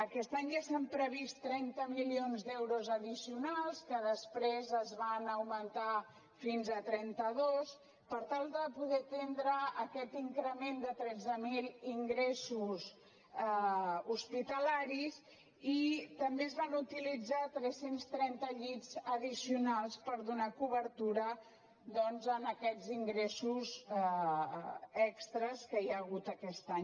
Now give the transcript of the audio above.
aquest any ja s’han previst trenta milions d’euros addicionals que després es van augmentar fins a trenta dos per tal de poder atendre aquest increment de tretze mil ingressos hospitalaris i també es van utilitzar tres cents i trenta llits addicionals per donar cobertura doncs a aquests ingressos extres que hi ha hagut aquest any